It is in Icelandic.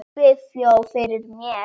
Svíþjóð fyrir mér.